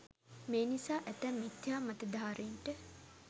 මේ නිසා ඇතැම් මිථ්‍යා මතධාරීන්ට